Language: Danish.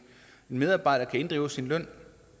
medarbejder kan inddrive sin løn